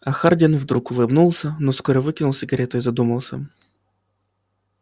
а хардин вдруг улыбнулся но вскоре выкинул сигару и задумался